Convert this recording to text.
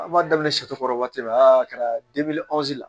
An b'a daminɛ kɔrɔ waati la a kɛra la